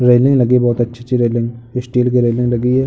Railing लगी बोहत अच्छी-अच्छी रेलिंग स्टील की रेलिंग लगी है।